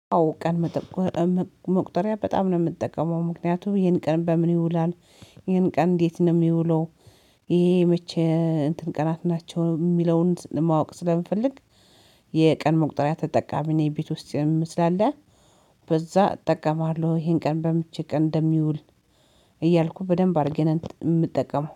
አዎ ቀን መቁጠሪያ በጣም ነው የምትጠቀመው ምክንያቱም ይሄን ቀን በምን ይውላል ይሄን ቀን እንዴት ነው የሚውለው? ይሄ መቼ እንትን ቀናት ናቸው የሚለውን ማወቅ ስለምፈልግ። የቀን መቁጠሪያ ተጠቃሚ እኔ ቤት ውስጥ የምመ ስላለ። በዛ እጠቀማለሁ ይሄን ቀን በመቼ ቀን እንደሚውል። እያልኩ በደንብ አድርጌ የምጠቀም